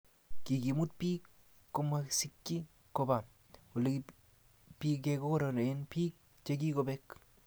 kikimuut biik komasikchi koba olebigegonoren biik chegigobek